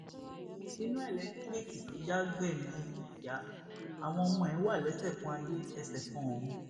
iná elétíríìkì tó já gbẹmí ìyá àwọn ọmọ ẹ wà lẹsẹkanayé ẹsẹkanọrun